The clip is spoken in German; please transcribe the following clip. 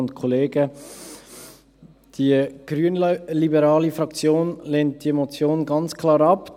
Die grünliberale Fraktion lehnt diese Motion ganz klar ab.